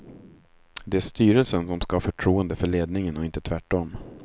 Det är styrelsen som skall ha förtroende för ledningen och inte tvärtom.